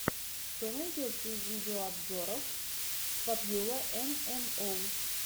что найдется из видеообзоров попьюла эм эм оус